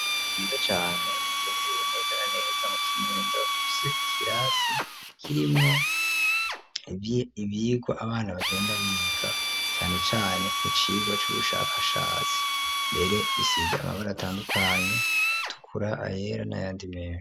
Ryiza cane riherereye neza na neza mu Kinindo rifise ikirasi kirimwo ivyigwa abana bagenda biga, cane cane mu cigwa c'ubushakashatsi, mbere bisize amabara atandukanye iritukura, ayera nayandi menshi.